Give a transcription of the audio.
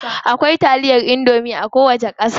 Akwai taliyar indomie a kowace ƙasa.